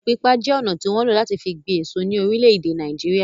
Ilẹ̀ pípa je ọna tí wọn ń lo láti fi gbin èso ní orílè èdè Nàìjíríà